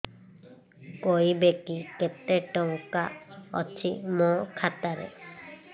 କହିବେକି କେତେ ଟଙ୍କା ଅଛି ମୋ ଖାତା ରେ